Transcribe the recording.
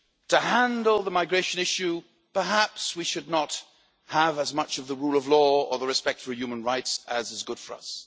To handle the migration issue, perhaps we should not have as much of the rule of law or the respect for human rights as is good for us.